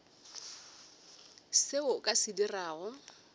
seo o ka se dirago